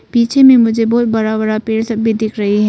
पीछे में मुझे बहुत बड़ा बड़ा पेड़ सब भी दिख रहे है।